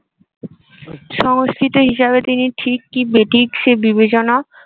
সংস্কৃত হিসাবে তিনি ঠিক কি বেঠিক সে বিবেচনা